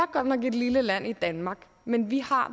godt nok et lille land i danmark men vi har